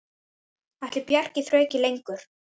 Ætli Bjarni þrauki lengur?